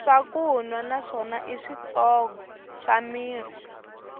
swakunwa na swona i switshongo swa mirhi